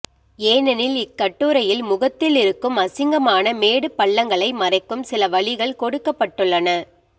ஏனெனில் இக்கட்டுரையில் முகத்தில் இருக்கும் அசிங்கமான மேடு பள்ளங்களை மறைக்கும் சில வழிகள் கொடுக்கப்பட்டுள்ளன